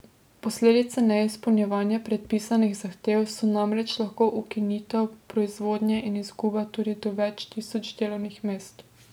Posledice neizpolnjevanja predpisanih zahtev so namreč lahko ukinitev proizvodnje in izguba tudi do več tisoč delovnih mest.